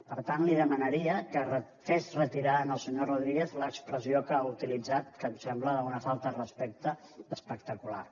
per tant li demanaria que fes retirar al senyor rodríguez l’expressió que ha utilitzat que em sembla d’una falta de respecte espectacular